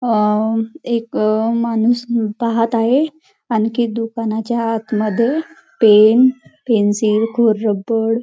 अअ एक माणूस पाहत आहे आणखी दुकांनाच्या आत मध्ये पेन पेन्सिल खोड रबर --